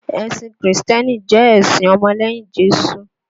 Ẹ̀sìn kìrìsìtẹ́nì jẹ́ ẹ̀sìn ọmọ lẹ́yìn Jésù